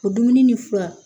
O dumuni ni fura